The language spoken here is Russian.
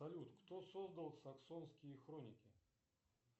салют кто создал саксонские хроники